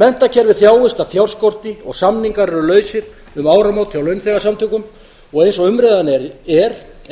menntakerfið þjáist af fjárskorti og samningar eru lausir um áramót hjá launaþegasamtökum og eins og umræðan er